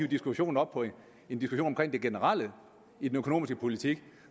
diskussion om den generelle økonomiske politik